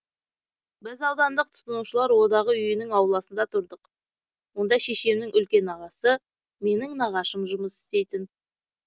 біз аудандық тұтынушылар одағы үйінің ауласында тұрдық онда шешемнің үлкен ағасы менің нағашым жұмыс істейтін